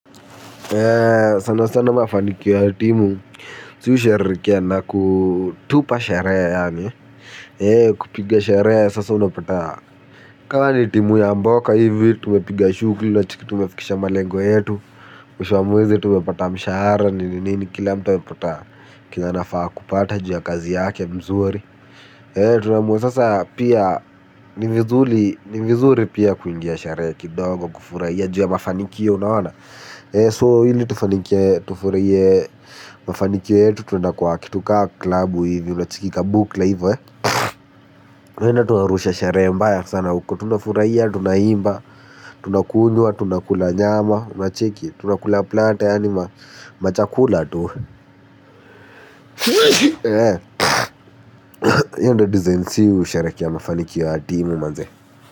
Sana sana mafanikio ya timu si husherehekea na kutupa sherehe yaani kupiga sherehe sasa unapata kama ni timu ya mboka hivi tumepiga shughuli unacheki tumefikisha malengo yetu. Mwisho wa mwezi tumepata mshahara nini nini kila mtu amepata kenye anafaa kupata juu ya kazi yake mzuri. Tunaamua sasa pia ni vizuri ni vizuri pia kuingia sherehe kidogo kufurahia juu ya mafanikio unaona So ili tufurahie mafanikio yetu tunaenda kwa kitu kama klubu hivi unacheki kabukla hivo tunaenda tunarusha sherehe mbaya sana huko tunafurahia tunaimba. Tunakunywa tunakula nyama unacheki tunakula plata yaaani machakula tu hio ndio design sisi husherekea mafanikio ya timu manze.